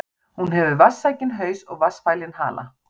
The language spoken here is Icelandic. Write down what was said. Hún hefur vatnssækinn haus og vatnsfælinn hala.